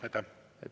Aitäh!